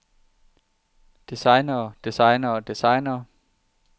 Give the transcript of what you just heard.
designere designere designere